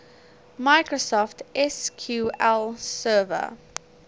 microsoft sql server